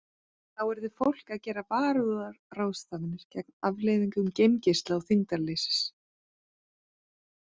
Þá yrði fólk að gera varúðarráðstafanir gegn afleiðingum geimgeisla og þyngdarleysis.